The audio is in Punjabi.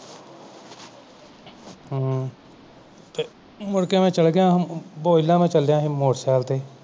ਮੁੜਕੇ ਮੇਂ ਚਲ ਗਿਆ ਹਾਂ ਬੋਰਿਲਾ ਚਲਿਆ ਸੀ motorcycle ਤੇ